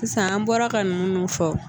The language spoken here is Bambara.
Sisan an bɔra ka ninnu fɔ